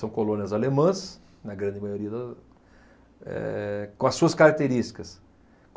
São colônias alemãs, na grande maioria da, eh, com as suas características.